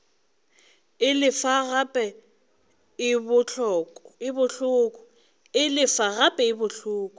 e lefa gape e bohloko